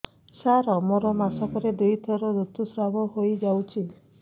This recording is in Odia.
ସାର ମୋର ମାସକରେ ଦୁଇଥର ଋତୁସ୍ରାବ ହୋଇଯାଉଛି